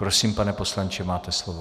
Prosím, pane poslanče, máte slovo.